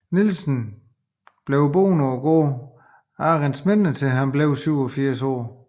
Nielsen blev boede på gården Arentsminde til han var 87 år